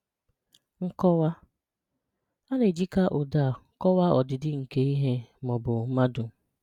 Nkọ̀wà: A na-èjíkà ụdị̀ a kọ̀wàà ọdị̀dị̀ nkè ihè ma ọ̀ bụ̀ mmadụ̀